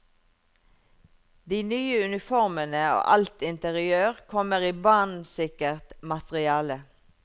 De nye uniformene og alt interiør kommer i brannsikkert materiale.